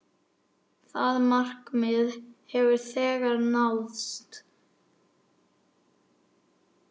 Það markmið hefur þegar náðst.